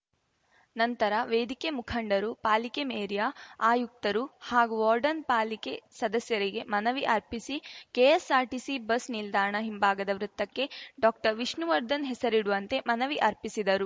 ನಂತರ ವೇದಿಕೆ ಮುಖಂಡರು ಪಾಲಿಕೆ ಮೇರ್ಯಾ ಆಯುಕ್ತರು ಹಾಗೂ ವಾರ್ಡನ್ ಪಾಲಿಕೆ ಸದಸ್ಯರಿಗೆ ಮನವಿ ಅರ್ಪಿಸಿ ಕೆಎಸ್ಸಾರ್ಟಿಸಿ ಬಸ್ ನಿಲ್ದಾಣ ಹಿಂಭಾಗದ ವೃತ್ತಕ್ಕೆ ಡಾಕ್ಟರ್ವಿಷ್ಣುವರ್ಧನ್ ಹೆಸರಿಡುವಂತೆ ಮನವಿ ಅರ್ಪಿಸಿದರು